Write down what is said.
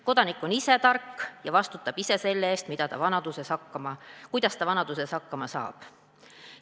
Kodanik on ise tark ja vastutab ise selle eest, kuidas ta vanaduses hakkama saab.